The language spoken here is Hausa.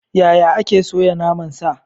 Yaya ake soya naman sa?